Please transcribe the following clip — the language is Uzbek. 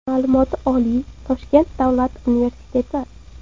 Ma’lumoti oliy, Toshkent Davlat universiteti.